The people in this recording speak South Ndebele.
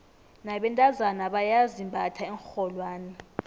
nabentazana bayazimbatha iinrholwane